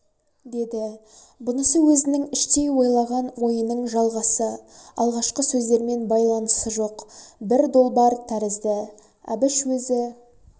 деді бұнысы өзінің іштей ойлаған ойының жалғасы алғашқы сөздермен байланысы жоқ бір долбар тәрізді әбіш өзі